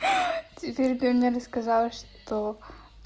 теперь ты мне рассказала что